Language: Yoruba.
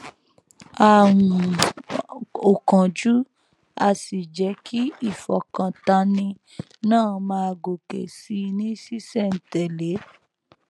a um ò kánjú a sì jẹ kí ìfọkàntánni náà máa gòkè sí i ní ṣísẹntèlé